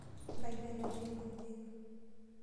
Ntayu enatii enkume ino.